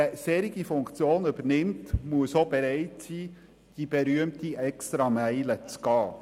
Wer eine solche Funktion übernimmt, muss auch bereit sein, die berühmte Extrameile zu gehen.